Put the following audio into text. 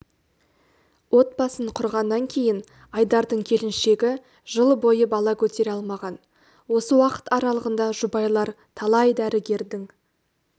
отбасын құрғаннан кейін айдардың келіншегі жыл бойы бала көтере алмаған осы уақыт аралығында жұбайлар талай дәрігердің